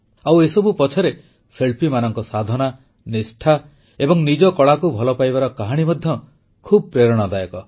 ଆଉ ଏସବୁ ପଛରେ ଶିଳ୍ପୀମାନଙ୍କ ସାଧନା ନିଷ୍ଠା ଏବଂ ନିଜ କଳାକୁ ଭଲପାଇବାର କାହାଣୀ ମଧ୍ୟ ଖୁବ ପ୍ରେରଣାଦାୟକ